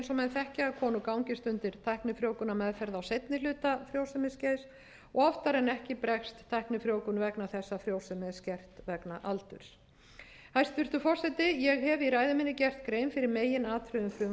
þekkja að konur gangist undir tæknifrjóvgunarmeðferð á seinni hluta frjósemisskeiðs og oftar en ekki bregst tæknifrjóvgun vegna þess að frjósemi er skert vegna aldurs hæstvirtur forseti ég hef í ræðu minni gert grein fyrir meginatriðum frumvarpsins hér er um